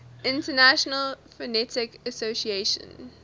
international phonetic association